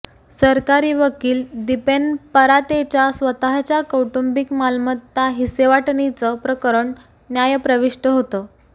सरकारी वकील दिपेन परातेच्या स्वतःच्या कौटुंबिक मालमत्ता हिस्सेवाटणीचं प्रकरण न्यायप्रविष्ट होतं